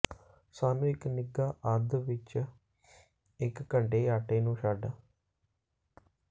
ਸਾਨੂੰ ਇੱਕ ਨਿੱਘਾ ਅੱਧ ਵਿੱਚ ਇੱਕ ਘੰਟੇ ਆਟੇ ਨੂੰ ਛੱਡ